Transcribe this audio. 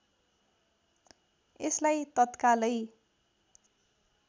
यसलाई तत्कालै